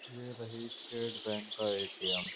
ये रही State Bank का एटीएम ।